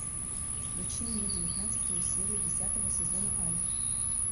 включи мне девятнадцатую серию десятого сезона альф